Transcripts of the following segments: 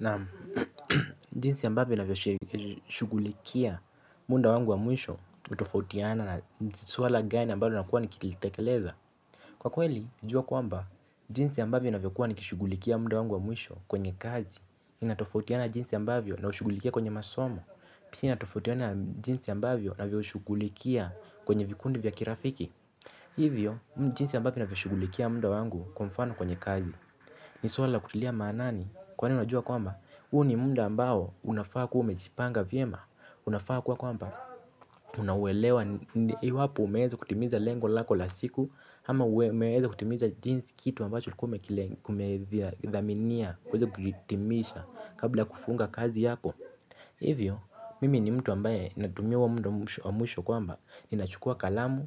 Naam jinsi ambavyo ninavyo shugulikia muda wangu wa mwisho hutofautiana na swala gani ambayo nakuwa nikitilitekeleza. Kwa kweli, na jua kwamba jinsi ambavyo ninavyo shughulikia muda wangu wa mwisho kwenye kazi inatofautiana jinsi ambavyo navyo shughulikia kwenye masomo, pia inatofautiana jinsi ambavyo ninavyo shughulikia kwenye vikundi vya kirafiki. Hivyo, jinsi ambavyo ninavyo shughulikia muda wangu kwa mfano kwenye kazi. Ni swala la kutilia maanani kwa unajua kwamba huu ni muda ambao unafaa kuwa umejipanga vyema. Unafaa kuwa kwamba unauelewa. Iwapo umeweza kutimiza lengo lako la siku, ama umeweza kutimiza jinsi kitu ambacho ulikua umekidhaminia kuweza kihitimisha kabla ya kufunga kazi yako. Hivyo mimi ni mtu ambaye natumia huo muda wa mwisho kwamba ninachukua kalamu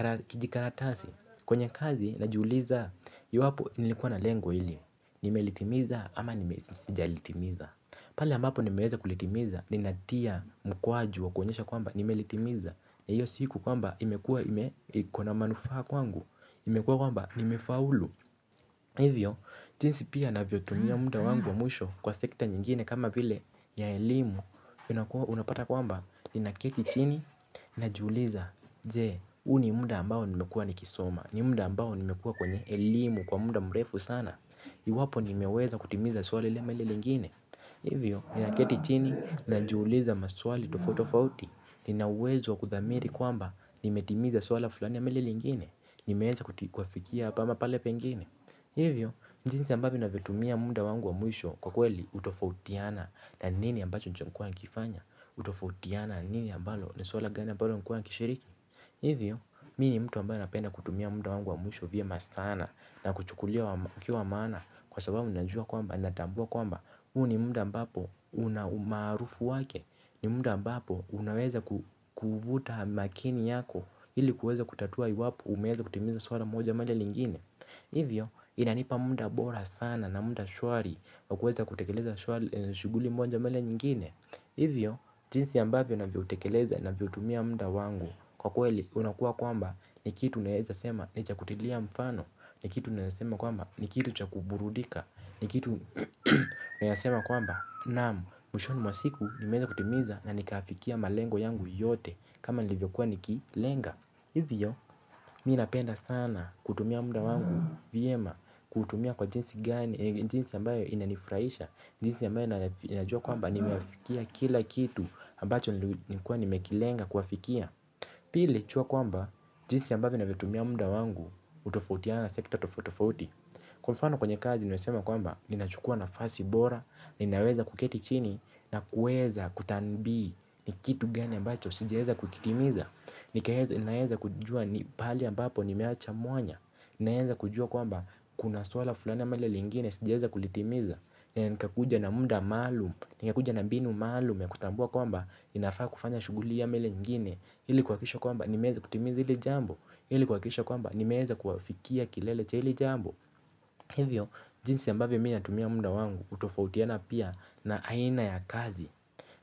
na kijikaratasi, kwenye kazi najiuliza iwapo nilikuwa na lengo hili nimelitimiza ama nime sijalitimiza. Pale ambapo nimeweza kulitimiza ninatia mkwaju wakuonyesha kwamba nimelitimiza na iyo siku kwamba imekuwa ikona manufaa kwangu imekuwa kwamba nime faulu. Hivyo jinsi pia navyotumia muda wangu wa mwisho kwa sekta nyingine kama vile ya elimu. Unapata kwamba ninaketi chini najuliza je huu ni muda ambao nimekuwa nikisoma ni muda ambao nimekuwa kwenye elimu kwa muda mrefu sana? Iwapo nimeweza kutimiza swali le melele ingine. Hivyo, ninaketi chini na jiuliza maswali tofot tofauti. Ninauwezo wa kuthamiri kwamba ni metimiza swala fulani ama ile lingine. Ni meweza kuafikia hapa ama pale pengine. Hivyo, njinsi ambavyo navyo tumia munda wangu wa mwisho kwa kweli, utofautiana. Na ni nini ambacho sijakuwa nikifanya hutofautiana na nini ambalo ni swala gani ambalo nimekuwa nikishiriki. Hivyo, mi ni mtu ambayo napenda kutumia muda wangu wa mwisho vyema sana. Na kuchukulia wakiwa wa maana kwa sababu najua kwamba natambua kwamba huu ni muda ambapo una umaarufu wake. Ni muda ambapo unaweza kuvuta makini yako ili kuweza kutatua iwapo umeweza kutimiza swala moja baada ya lingine hivyo inanipa muda bora sana na mda shwari wa kuweza kutekeleza swala shughuli moja mbele nyingine. Hivyo jinsi ambavyo navoutekeleza navyoutumia muda wangu. Kwa kweli unakuwa kwamba ni kitu unaweza sema ni cha kutilia mfano. Ni kitu naeza sema kwamba ni kitu cha kuburudika. Ni kitu naeza sema kwamba naam, mwishoni mwa siku nimeweza kutimiza na nikafikia malengo yangu yote. Kama nilivyokuwa nikilenga hivyo, mi napenda sana kutumia muda wangu vyema kuutumia kwa jinsi gani, jinsi ambayo inanifurahisha. Jinsi ambayo ninajua kwamba nimeyafikia kila kitu ambacho nilikuwa nimekilenga kuwafikia. Pili, jua kwamba jinsi ambayo navyotumia muda wangu hutofautiana, sekta tofauti tofauti. Kwa mfano kwenye kazi naweza sema kwamba ninachukua nafasi bora. Ninaweza kuketi chini na kuweza. Kutabiri ni kitu gani ambacho, sijaeza kukitimiza. Ninaweza kujua pahali ambapo nimeacha mwanya. Ninaweza kujua kwamba kuna swala fulani ama lile lingine, sijaeza kulitimiza. Nikakuja na muda maalum. Nikakuja na mbinu maalum ya kutambua kwamba, ninafaa kufanya shughuli hii ama lile lingine ili kuhakikisha kwamba, nimeweza kutimiza hili jambo. Hili kuhakikisha kwamba nimeeza kuyafikia kilele cha hili jambo. Hivyo jinsi ambavyo mi natumia muda wangu hutofautiana pia na aina ya kazi.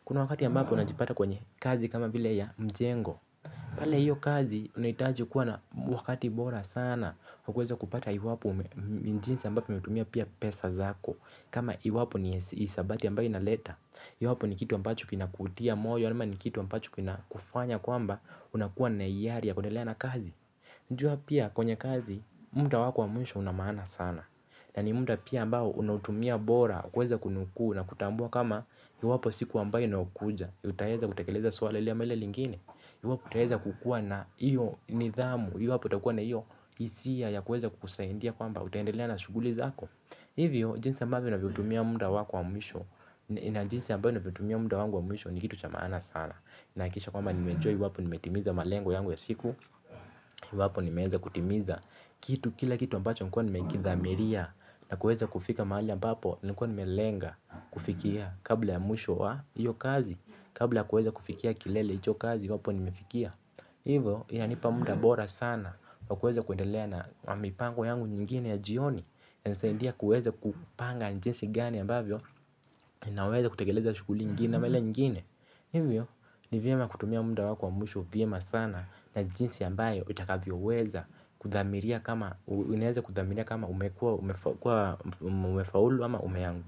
Kuna wakati ambapo najipata kwenye kazi kama vile ya mjengo. Pale hiyo kazi unahitaji kuwa na wakati bora sana wa kuweza kupata iwapo jinsi ambavyo nimetumia pia pesa zako. Kama iwapo ni hisabati ambayo inaleta. Iwapo ni kitu ambacho kinakutia moyo ama ni kitu ambacho kinakufanya kwamba unakuwa na hiari ya kuendelea na kazi unajua pia kwenye kazi. Muda wako wa mwisho una maana sana. Na ni muda pia ambao unautumia bora kuweza kunukuu na kutambua kama iwapo siku ambayo inaoukuja utaeza kutekeleza swala ile ama lile lingine utaeza kukua na iyo nidhamu iwapo utakua na iyo hisia ya kuweza kukusaidia kwamba utaendelea na shughuli zako. Hivyo jinsi ambavyo unavyotumia muda wako wa mwisho. Na jinsi ambao unavyotumia muda wangu wa mwisho. Ni kitu cha maana sana. Nahakisha kwamba nime enjoy iwapo nimetimiza malengo yangu ya siku iwapo nimeeza kutimiza. Kitu kila kitu ambacho nilikuwa nimekidhamiria. Na kuweza kufika mahali ambapo nilikuwa nimelenga kufikia. Kabla ya mwisho wa hio kazi. Kabla kuweza kufikia kilele hicho kazi iwapo nimefikia. Hivo inanipa muda bora sana. Kwa kuweza kuendelea na mipango yangu nyingine ya jioni inanisaidia kuweza kupanga ni jinsi gani ambavyo naweza kutekeleza shughuli ingine ama ile nyingine. Hivyo ni vyema kutumia muda wako wa mwisho vyema sana na jinsi ambayo itakavyoweza kudhamiria kama umefaulu ama umeanguka.